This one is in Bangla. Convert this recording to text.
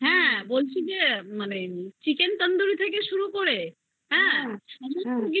হ্যা বলছি যে মানে chicken tandoori থেকে শুরু করে হ্যা সব কিছু